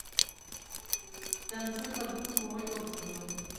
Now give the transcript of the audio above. танцуй под бузову ольга бузова